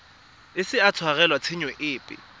ise a tshwarelwe tshenyo epe